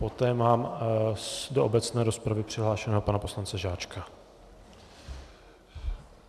Poté mám do obecné rozpravy přihlášeného pana poslance Žáčka.